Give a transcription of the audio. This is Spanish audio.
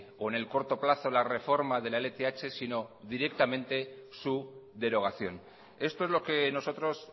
o en el corto plazo la reforma de la lth sino directamente su derogación esto es lo que nosotros